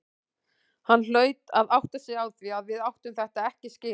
Hann hlaut að átta sig á því að við áttum þetta ekki skilið.